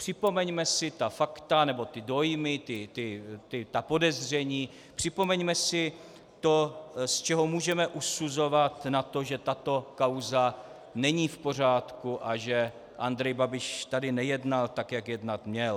Připomeňme si ta fakta nebo ty dojmy, ta podezření, připomeňme si to, z čeho můžeme usuzovat na to, že tato kauza není v pořádku a že Andrej Babiš tedy nejednal tak, jak jednat měl.